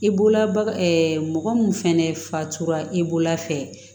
I bolola baga mɔgɔ mun fɛnɛ fatura i bolola fɛ